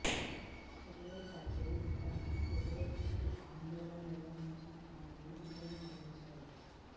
Sterlite factory విస్తరణను వ్యతిరేకిస్తూ ఆందోళన నిర్వహించిన స్థానికులు విజయం సాధించారు